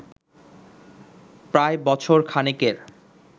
প্রায় বছর খানেকের